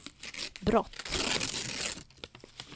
brott